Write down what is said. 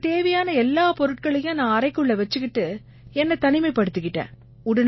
எனக்குத் தேவையான எல்லா பொருட்களையும் நான் அறைக்குள்ள வச்சுக்கிட்டு என்னைத் தனிமைப்படுத்திக்கிட்டேன்